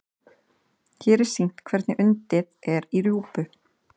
hér er sýnt hvernig undið er í rjúpu